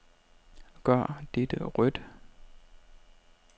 Gør dette rødt.